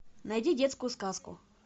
найди детскую сказку